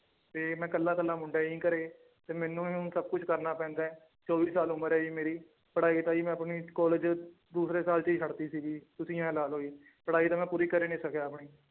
ਤੇ ਮੈਂ ਇਕੱਲਾ ਇਕੱਲਾ ਮੁੰਡਾ ਜੀ ਘਰੇ ਤੇ ਮੈਨੂੰ ਸਭ ਕੁਛ ਕਰਨਾ ਪੈਂਦਾ ਹੈ ਚੌਵੀ ਸਾਲ ਉਮਰ ਹੈ ਜੀ ਮੇਰੀ ਪੜ੍ਹਾਈ ਲਿਖਾਈ ਮੈਂ ਆਪਣੀ ਕਾਲਜ ਦੂਸਰੇ ਸਾਲ ਚ ਹੀ ਛੱਡ ਦਿੱਤੀ ਸੀਗੀ ਤੁਸੀਂ ਇਉਂ ਲਾ ਲਓ ਜੀ ਪੜ੍ਹਾਈ ਤਾਂ ਮੈਂ ਪੂਰੀ ਕਰ ਹੀ ਨੀ ਸਕਿਆ ਆਪਣੀ